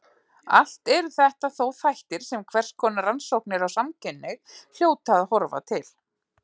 Allt eru þetta þó þættir sem hverskonar rannsóknir á samkynhneigð hljóta að horfa til.